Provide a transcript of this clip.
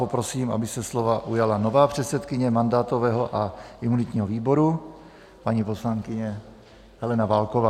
Poprosím, aby se slova ujala nová předsedkyně mandátového a imunitního výboru, paní poslankyně Helena Válková.